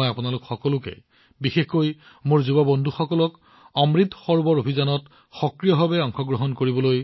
মই আপোনালোক সকলোকে বিশেষকৈ মোৰ যুৱ বন্ধুসকলক অমৃত সৰোবৰ অভিযানত সক্ৰিয়ভাৱে অংশগ্ৰহণ কৰিবলৈ